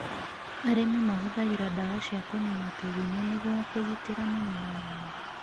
Arĩmi mahũthagĩra ndawa cia kũniina tũgunyũ nĩguo kũgitĩra mĩmera yao.